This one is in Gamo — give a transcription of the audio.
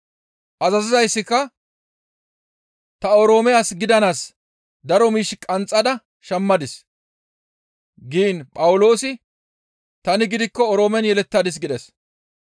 Azazizayssika, «Ta Oroome as gidanaas daro miish qanxxada shammadis» giin Phawuloosi, «Tani gidikko Oroomen yelettadis» gides.